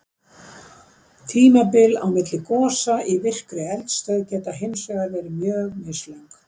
tímabil á milli gosa í virkri eldstöð geta hins vegar verið mjög mislöng